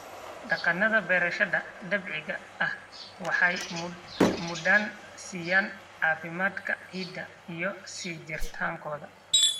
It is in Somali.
Dhaqannada beerashada dabiiciga ahi waxay mudnaan siiyaan caafimaadka ciidda iyo sii jiritaankooda.